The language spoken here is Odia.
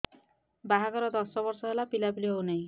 ବାହାଘର ଦଶ ବର୍ଷ ହେଲା ପିଲାପିଲି ହଉନାହି